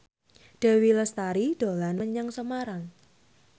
Dewi Lestari dolan menyang Semarang